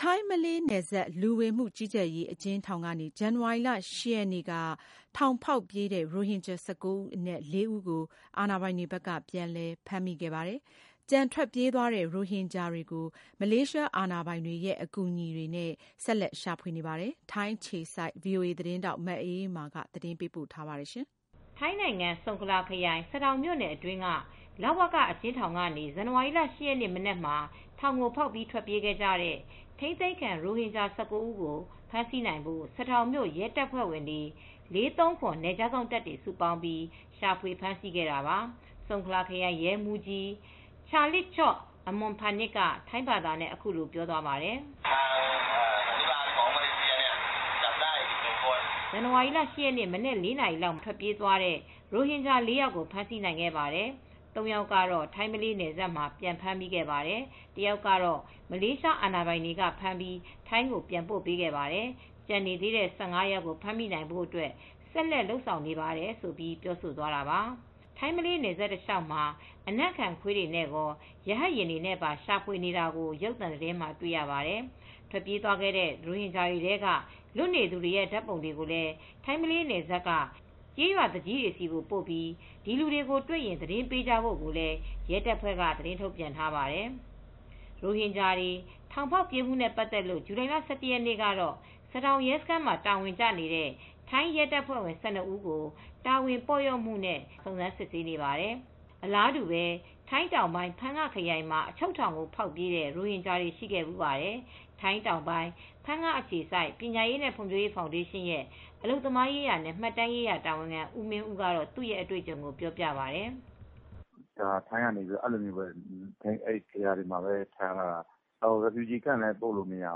ထိုင်း-မလေးနယ်စပ် လူဝင်မှုကြီးကြပ်ရေး အကျဉ်းထောင်ကနေ ဇန်နဝါရီလ ၈ ရက်နေ့ ကထောင်ဖောက်ပြေးတဲ့ ရိုဟင်ဂျာ ၁၉ ဦးအနက် ၄ ဦး ကို ပြန်လည်ဖမ်းမိ ခဲ့ပါတယ်။ ကျန်ထွက်ပြေးသွားတဲ့ ရိုဟင်ဂျာတွေကို မလေးရှားအာဏာပိုင်တွေရဲ့ အကူအညီနဲ့ ဆက်လက်ရှာဖွေနေပါတယ်။ ထိုင်းအခြေစိုက် ဗွီအိုအေသတင်းထောက် မအေးအေးမာက သတင်းပေးပို့ထားပါတယ်။ ထိုင်းနိုင်ငံ ၊ ဆုန်ခလာခရိုင် ၊ စဒေါင်မြို့နယ်တွင်းက လဝက အကျဉ်းထောင်ကနေဇန်နဝါရီလ ၈ ရက်နေ့ မနက်မှာ ထောင်ကို ဖောက်ပြီး ထွက်ပြေးခဲ့ကြတဲ့ ထိန်းသိမ်းခံ ရိုဟင်ဂျာ ၁၉ ဦး ကို ဖမ်းဆီးနိုင်ဖို့ စဒေါင်မြို့ ရဲတပ်ဖွဲ့ ၄၃၇ နယ်ခြားစောင့်တပ်တွေ စုပေါင်းပြီး ရှာဖွေဖမ်းဆီးခဲ့တာပါ။ ဆုန်ခလာခရိုင် ရဲမူးကြီး Chalitchok Amornpanich က ထိုင်းဘာသာနဲ့ အခုလို ပြောပါတယ်။ “ဇန်နဝါရီလ ၈ ရက်နေ့မနက် ၄နာရီလောက်မှာ ထွက်ပြေးသွားတဲ့ရိုဟင်ဂျာ ၄ ယောက်ကို ဖမ်းဆီးနိုင်ခဲ့ပါတယ်။ ၃ယောက်ကတော့ ထိုင်း-မလေးနယ်စပ်မှာ ပြန်ဖမ်းမိပါတယ်တယောက်တော့ မလေးရှားအာဏာပိုင်တွေက ဖမ်းပြီး ထိုင်းကိုပြန်ပို့ ပေးခဲ့ပါတယ်။ကျန်နေသေးတဲ့ ၁၅ယောက်ကိုဖမ်းမိဖို့အတွက် ဆက်လက်လုပ်ဆောင်နေသေးတယ်” ထိုင်း-မလေးနယ်စပ်တလျောက်မှာ အနံ့ခံခွေးတွေနဲရော ရဟတ်ယာဉ်တွေနဲ့ပါ ရှာဖွေနေတာကို ရုပ်သံသတင်းမှာတွေ့ရပါတယ်။ ထွက်ပြေး သွားတဲ့ ရိုဟင်ဂျာတွေထဲက လွတ်နေသူတွေရဲ့ဓါတ်ပုံတွေကို ထိုင်း-မလေးနယ်စပ်တွေက ကျေးရွာသူကြီးတွေဆီပို့ပြီး ဒီလူတွေကို တွေ့ရင်သတင်းပေးဖို့လည်း ရဲတပ်ဖွဲ့က သတင်းထုတ်ပြန်ထားပါတယ်။ ရိုဟင်ဂျာတွေ ထောင်ဖောက်ပြေးမူနဲ့ ပတ်သက်လို့ ဇူလိုင် ၁၁ ရက်နေ့ကတော့ စဒေါင် ရဲစခန်းမှာ တာဝန်ကျနေတဲ့ ထိုင်းရဲတပ်ဖွဲ့ဝင် ၁၂ဦးကိုတာဝန်ပေါ့လျော့မူနဲ့စုံစမ်း စစ်ဆေးနေပါတယ်။ အလားတူပဲ ထိုင်းတောင်ပိုင်းဖန်ငခရိုင်မှာလည်း အချုပ်ထောင်ကို ဖောက်ပြေးတဲ့ ရိုဟင်ဂျာတွေရှိခဲ့ဖူးပါတယ်။ ထိုင်းတောင်ပိုင်း ဖန်းငအခြေစိုက်ပညာရေးနဲ့ ဖွံဖြိုးရေးဖောင်ဒေးရှင်းရဲ့ အလုပ်သမားရေးရာနဲ့ မှတ်တမ်းရေးရာတာဝန်ခံဦးမင်းဦးကသူ့အတွေ့အကြုံကိုပြောပြပါတယ်။ “ထိုင်းကတော့ ဂေဟာတွေမှာပဲထားတယ်။ ဒုက္ခသည်စခန်းလည်းပို့လို့မရ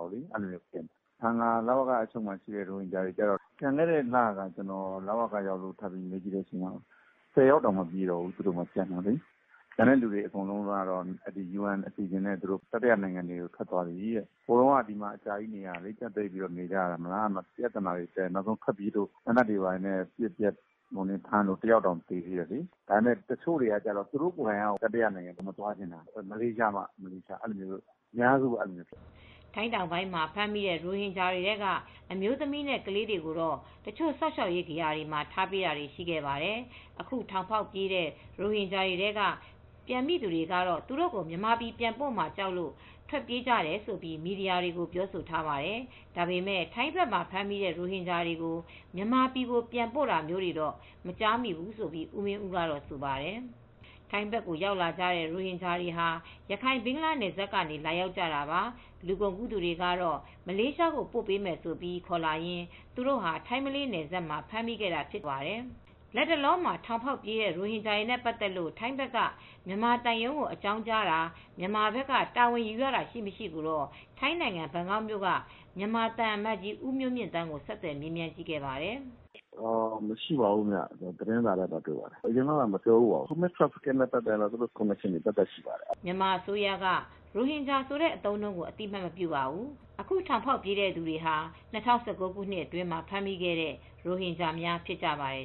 ဘူးလေ ကျနော်ထင်တာကြာမယ်ထင်တာ သိတ်မကြာဘူး ။ ပြီးခဲ့တဲ့လက လဝကရုံးကိုရောက်တုန်း မေးကြည့်တာ ကျန်တဲ့ရိုဟင်ဂျာ ၁၀ယောက်တောင် မပြည့်တော့ဘူး ။ ကျန်တဲ့လူတွေက UN အစီအစဉ်နဲ့ တတိယနိုင်ငံကို ထွက်သွားကြပြီ။ ဟိုတုန်းကအကြာကြီးနေရတာ ကြပ်ပိတ်ပြီးနေရတာ ပြဿနာတွေတက် အချုပ်ကိုဖောက်ပြေးလို့ သေနတ်ဖောက်ပြီးပြန်ဖမ်းတာတယောက်တောင် သေ သေးတယ် ဒါပေမယ့် တချို့ကလည်း သူတို့ကိုယ်တိုင်တတိယနိုင်ငံကို မသွားချင်ကြဘူး မလေးရှားမှ မလေးရှားပဲ သွားချင်တာရှိတယ်။” ထိုင်းတောင်ပိုင်းမှာဖမ်းမိတဲ့ ရိုဟင်ဂျာတွေထဲက အမျိုးသမီးနဲ့ ကလေးတွေကိုတော့ တချို့ စောင့်ရှောက်ရေးဂေဟာတွေမှာ ထားပေးတာတွေရှိခဲ့ပါတယ်။ အခု ထောင်ဖောက်ပြေးတဲ့ ရိုဟင်ဂျာတွေထဲက ပြန်မိသူတွေကတော့ သူတို့ကို မြန်မာပြည်ပြန်ပို့မှာ ကြောက်လို့ ထွက်ပြေးကြတယ်လို့ ထိုင်းမီဒီယာတွေကို ပြောဆိုထားပါတယ်။ ဒါပေမဲ့ ထိုင်းဘက်မှာဖမ်းမိတဲ့ ရိုဟင်ဂျာတွေကို မြန်မာပြည်ကို ပြန်ပို့တာမျိုးကိုတော့ မကြားမိဘူးလို့ ဦးမင်းဦးကတော့ဆိုပါတယ်။ ထိုင်းဘက်ကို ရောက်လာတဲ့ရိုဟင်ဂျာတွေဟာ ရခိုင်ဘင်္ဂလားနယ်စပ်ကနေ လာရောက်ကြတာပါ။ လူကုန်ကူးသူတွေကတော့ မလေးရှားပို့ပေးမယ်ဆိုပြီး ခေါ်လာရင်း သူတို့ဟာ ထိုင်းမလေးနယ်စပ်မှာ ဖမ်းမိခဲ့တာဖြစ်တယ်လို့ ဦးမင်းဦးကပြောပါတယ်။ လတ်တလောမှာ ထောင်ဖောက်ပြေးသွားတဲ့ ရိုဟင်ဂျာတွေနဲ့ပတ်သက်လို့ ထိုင်းဘက်က မြန်မာသံရုံးဘက်ကို အကြောင်းကြာတာ မြန်မာဘက်က တာဝန်ယူရတာရှိ၊ မရှိကိုတော့ ထိုင်းနိုင်ငံဘန်ကောက်မြို့က မြန်မာသံအမတ်ကြီးဦးမျိုးမြင့်သန်းကို ဆက်သွယ်မေးမြန်းခဲ့ပါတယ်။ “မရှိပါဘူး ခင်ဗျ သတင်းစာထဲမှာပဲ တွေ့ပါတယ်။ မရှိပါဘူး အရင်တုန်းကလည်း မပြောဘူးပါဘူး Human Trafficking နဲ့ ပတ်သက်တာဆိုရင်တော့ သူတို့ကော်မတီတွေ သပ်သပ်ရှိပါတယ်။” မြန်မာအစိုးရက ရိုဟင်ဂျာဆိုတဲ့အသုံးအနှုန်းကို အသိအမှတ်မပြုပါဘူး။ အခုထောင်ဖောက်ပြေးတဲ့သူတွေဟာ ၂၀၁၉ခုနှစ်အတွင်းမှာ ဖမ်းမိခဲ့တဲ့ ရိုဟင်ဂျာများဖြစ်ပါတယ်